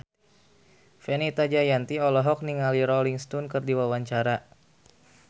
Fenita Jayanti olohok ningali Rolling Stone keur diwawancara